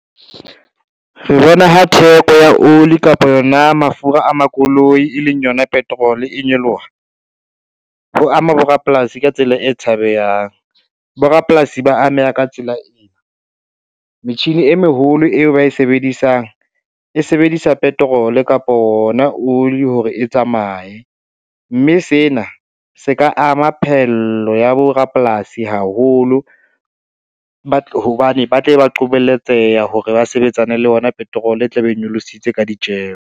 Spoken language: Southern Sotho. Re bona ha theko ya oli kapa yona mafura a makoloi, e leng yona petrol-e e nyoloha, ho ama borapolasi ka tsela e tshabehang. Borapolasi ba ameha ka tsela ena, metjhini e meholo eo ba e sebedisang, e sebedisa petrol kapo ona oli hore e tsamaye, mme sena se ka ama phehello ya borapolasi haholo, hobane ba tla be ba qobelletseha hore ba sebetsane le yona petrol e tla be e nyolositse ka ditjeho.